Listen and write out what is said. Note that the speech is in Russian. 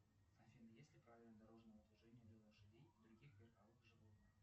афина есть ли правила дорожного движения для лошадей и других верховых животных